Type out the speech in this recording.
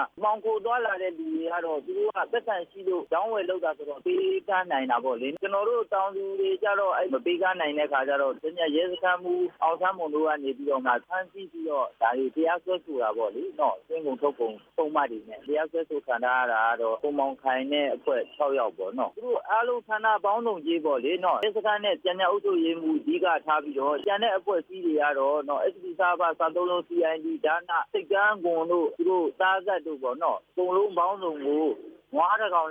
"မှောင်ခိုသွားလာတဲ့လူတွေကတော့ သူတို့က ပိုက်ဆံရှိလို့ အရောင်းအဝယ်လုပ်တာဆိုတော့ ပေးကမ်းနိုင် တာပေါ့လေ၊ ကျနော်တို့ တောင်သူတွေကျတော့ မပေးကမ်းနိုင်တဲ့အခါကျတော့ ရဲစခန်းမှူး အောင်စန်းမော် တို့ကနေပြီးတော့ ဖမ်းဆီးပြီးတော့ ဒါတွေကိုတရားစွဲဆိုတာပေါ့လေ၊ သွင်းကုန် ထုတ်ကုန်ပုဒ်မတွေနဲ့ တရားစွဲဆိုခံထားရတာက ကိုမောင်ခိုင်နဲ့အဖွဲ့ ၆ ယောက်ပေါ့နော်၊ ရဲစခန်းနဲ့ ကြာညှပ်အုပ်ချုပ်ရေးမှူး အဓိကထားပြီးတော့ ဆိပ်ကမ်းခွန်တို့ အကုန်လုံးပေါင်းစုံကို နွားတစ်ကောင်